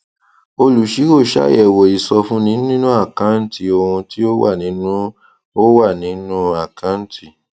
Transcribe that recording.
olùṣirò ṣàyẹwo ìsọfúnni nínú àkáǹtì ohun tí ó wà nínú ó wà nínú àkáǹtì